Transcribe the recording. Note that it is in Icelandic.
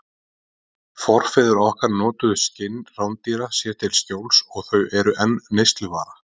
Forfeður okkar notuðu skinn rándýra sér til skjóls og þau eru enn neysluvara.